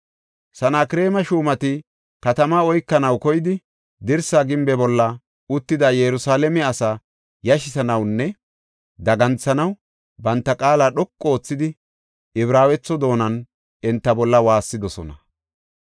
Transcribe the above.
Sanakreema shuumati katamaa oykanaw koyidi, dirsa gimbe bolla uttida Yerusalaame asaa yashisanawunne daganthanaw banta qaala dhoqu oothidi, Ibraawetho doonan enta bolla waassidosona.